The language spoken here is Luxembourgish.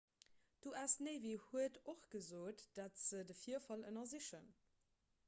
d'us navy huet och gesot datt se de virfall ënnersichen